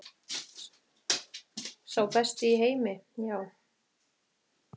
Sá besti í heimi, já.